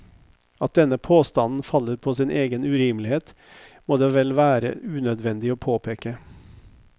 At denne påstanden faller på sin egen urimelighet, må det vel være unødvendig å påpeke.